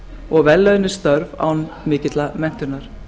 og vellaunuð störf án mikillar menntunar